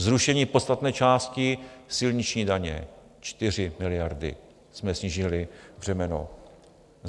Zrušení podstatné části silniční daně, 4 miliardy jsme snížili břemeno.